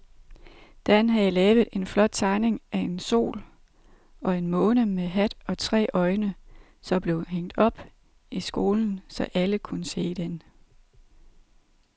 Dan havde lavet en flot tegning af en sol og en måne med hat og tre øjne, som blev hængt op i skolen, så alle kunne se den.